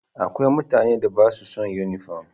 Akwai mutanen da ba sa son yunifom.